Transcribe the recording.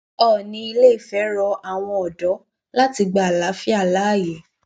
oòní ìlééfẹ rọ àwọn ọdọ láti gba àlàáfíà láàyè